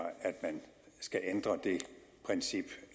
man skal ændre det princip